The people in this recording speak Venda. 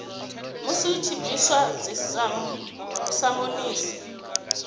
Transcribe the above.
musi hu tshi bviswa dzisamonisi